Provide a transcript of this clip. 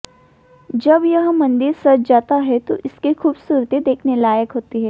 जब यह मंदिर सज जाता है तो इसकी खुबसूरती देखने लायक होती है